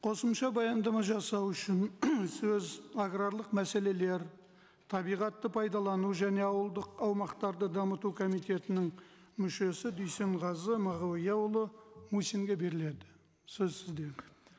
қосымша баяндама жасау үшін сөз аграрлық мәселелер табиғатты пайдалану және ауылдық аумақтарды дамыту комитетінің мүшесі дүйсенғазы мағауияұлы мусинге беріледі сөз сізде